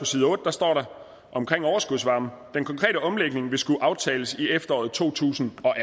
side otte står der om overskudsvarme den konkrete omlægning vil skulle aftales i efteråret to tusind og